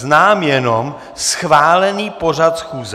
Znám jenom schválený pořad schůze.